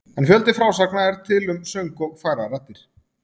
En fjöldi frásagna er til um söng og fagrar raddir.